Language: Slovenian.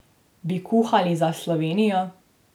Bi kuhali za Slovenijo?